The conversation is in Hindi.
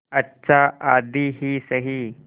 अच्छा आधी ही सही